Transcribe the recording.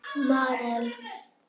Marel